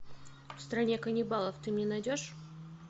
в стране каннибалов ты мне найдешь